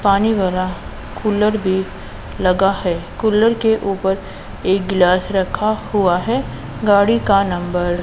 पानी वाला कूलर भी लगा है कूलर के ऊपर एक गिलास रखा हुआ है गाड़ी का नंबर --